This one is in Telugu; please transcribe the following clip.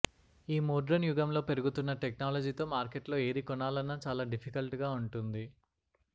ఈ మోడ్రన్ యుగంలో పెరుగుతున్న టెక్నాలజీతో మార్కెట్లో ఏది కొనాలన్నా చాలా డిఫికల్ట్ గా ఉంటుంది